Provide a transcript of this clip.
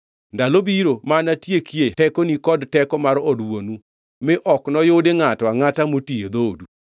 Ndalo biro ma anatiekie tekoni kod teko mar od wuonu, mi ok noyudi ngʼato angʼata moti e dhoodu.